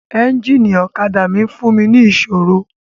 Ẹ́ńjíìnì ọ̀kadà mi ń fún mi ní ìṣòro.